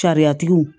Sariyatigiw